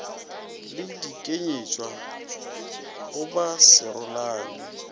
le dikenywatša go ba serolane